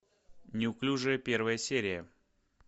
неуклюжая первая серия